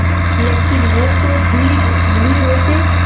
लेकिन वो तो भीग नहीं रहे थे